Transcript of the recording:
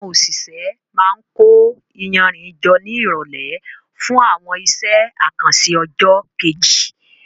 Àwọn òṣìṣẹ́ máa ń kó iyanrìn jọ ní ìrọ̀lẹ́ fún àwọn iṣẹ́ àkànṣe ọjọ́ kejì.